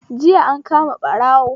JIya an kama ɓarawo